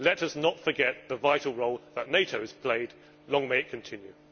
Let us not forget the vital role that NATO has played long may it continue.